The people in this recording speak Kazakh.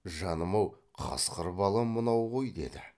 жаным ау қасқыр бала мынау ғой деді